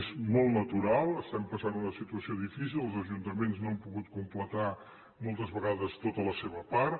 és molt natural estem passant una situació difícil els ajuntaments no han pogut completar moltes vegades tota la seva part